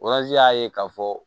y'a ye k'a fɔ